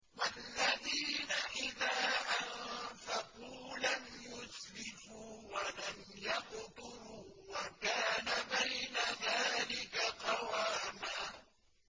وَالَّذِينَ إِذَا أَنفَقُوا لَمْ يُسْرِفُوا وَلَمْ يَقْتُرُوا وَكَانَ بَيْنَ ذَٰلِكَ قَوَامًا